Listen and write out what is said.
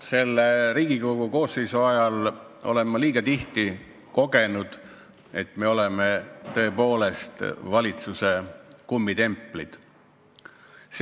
Selle Riigikogu koosseisu ajal olen ma liiga tihti kogenud, et me oleme tõepoolest valitsuse kummitemplid.